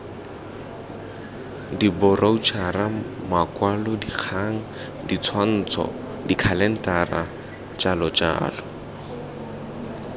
diboroutšhara makwalodikgang ditshwantsho dikhalentara jljl